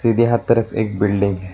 सीधे हाथ तरफ एक बिल्डिंग है।